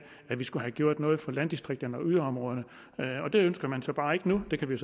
at vi skulle have gjort noget for landdistrikterne og yderområderne det ønsker man så bare ikke nu det kan vi